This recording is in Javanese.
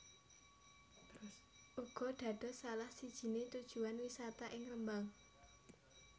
uga dados salah sijine tujuan wisata ing Rembang